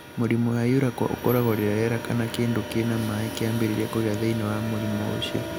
Mũrimũ wa urachal ũkoragwo rĩrĩa rĩera kana kĩndũ kĩna maĩ kĩambĩrĩria kũgĩa thĩinĩ wa mũrimũ ũcio.